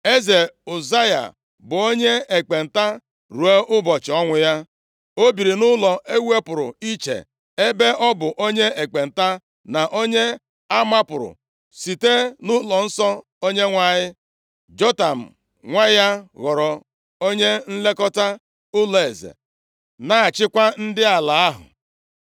Eze Ụzaya bụ onye ekpenta ruo ụbọchị ọnwụ ya. O biri nʼụlọ ewupụrụ iche, ebe ọ bụ onye ekpenta, na onye amapụrụ site nʼụlọnsọ Onyenwe anyị. Jotam nwa ya ghọrọ onye nlekọta ụlọeze, na-achịkwa ndị ala ahụ.